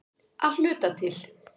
Að hluta til.